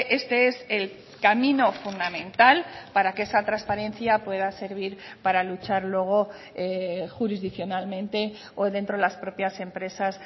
este es el camino fundamental para que esa transparencia pueda servir para luchar luego jurisdiccionalmente o dentro de las propias empresas